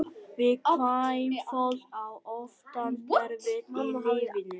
Viðkvæmt fólk á oftast erfitt í lífinu.